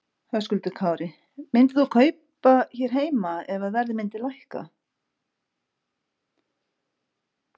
Höskuldur Kári: Myndir þú kaupa hér heima ef að verð myndi lækka?